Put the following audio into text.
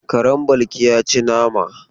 Karen Balki ya ci nama.